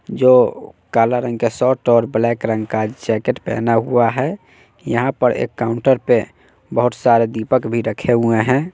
जो काला रंग का शर्ट और ब्लैक रंग का जैकेट पेहना हुआ है यहां पर एक काउंटर पे बहोत सारे दीपक भी रखे हुए हैं।